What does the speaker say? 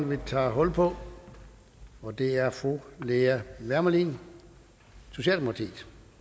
vi tager hul på og det er fru lea wermelin socialdemokratiet